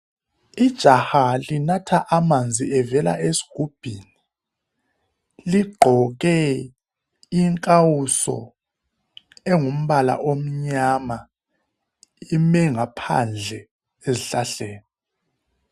Ijaha linatha amanzi evela esigubhini. Ligqoke ikawuso engumbala omnyama, lime ngaphandle ezihlahleni.